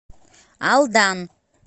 алдан